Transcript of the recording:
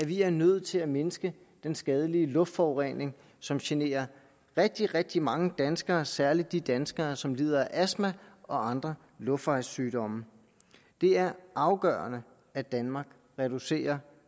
vi er nødt til at mindske den skadelige luftforurening som generer rigtig rigtig mange danskere og særlig de danskere som lider af astma og andre luftvejssygdomme det er afgørende at danmark reducerer